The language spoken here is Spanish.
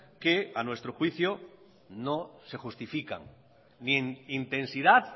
que a nuestro juicio no se justifican ni en intensidad